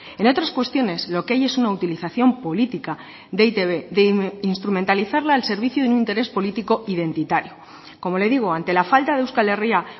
en otras cuestiones lo que hay es una utilización política de e i te be de instrumentalizarla al servicio de un interés político identitario como le digo ante la falta de euskal herria